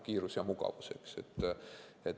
Kiirus ja mugavus.